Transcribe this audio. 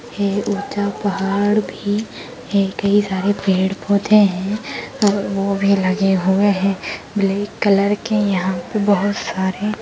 एक ऊँचा पहाड़ भी है कई सारे पेड़ पौधे हैं वो भी लगे हुए हैं ब्लैक कलर के यहाँ पे बहोत सारे --